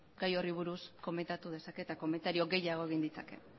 gai horri buruz komentatu dezake eta komentario gehiago egin ditzake